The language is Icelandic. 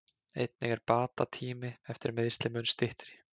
Einnig er bata tími eftir meiðsli mun styttri.